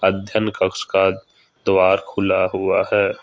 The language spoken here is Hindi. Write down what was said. अध्ययन कक्ष का द्वार खुला हुआ है।